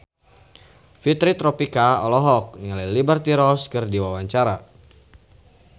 Fitri Tropika olohok ningali Liberty Ross keur diwawancara